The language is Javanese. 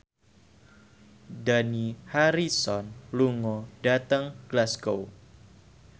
Dani Harrison lunga dhateng Glasgow